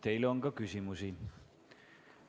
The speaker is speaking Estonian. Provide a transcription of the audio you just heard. Teile on ka küsimusi.